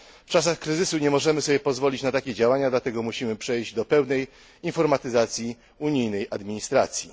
W czasach kryzysu nie możemy sobie pozwolić na takie działania, dlatego musimy przejść do pewnej informatyzacji unijnej administracji.